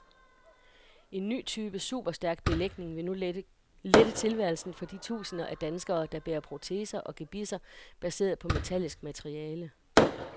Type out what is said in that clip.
En ny type superstærk belægning vil nu lette tilværelsen for de tusinder af danskere, der bærer proteser og gebisser baseret på metallisk materiale.